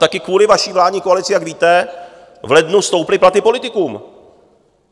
Také kvůli vaší vládní koalici, jak víte, v lednu stouply platy politikům.